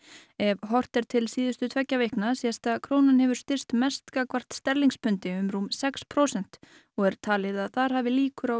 ef horft er til síðustu tveggja vikna sést að krónan hefur styrkst mest gagnvart sterlingspundi um rúm sex prósent og er talið að þar hafi líkur á